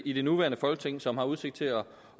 i det nuværende folketing som har udsigt til at